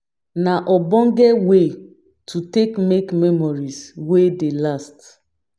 Na ogbonge wey to take make memories wey dey last